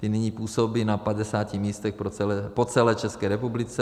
Ti nyní působí na 50 místech po celé České republice.